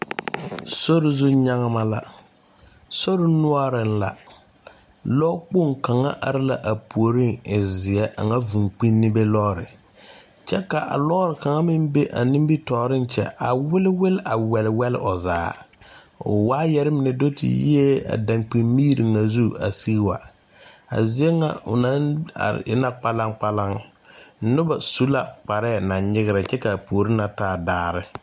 Sore zu nyagma la sore noɔreŋ la lɔ kpoŋ kaŋa are la a puoriŋ a e zeɛ a ŋa vūū kpinnebe lɔɔre kyɛ ka a lɔɔre kaŋa meŋ be a nimitooreŋ kyɛ a wiliwil a wɛlwɛl o zaa o waayarre mine do te yiee dankpin miri ŋa zu a sige wa a ziebŋa o naŋ are e na kpalaŋkpalaŋ nobɔ su la kparɛɛ naŋ nyigrɛ kyɛ kabpuore na taa daare.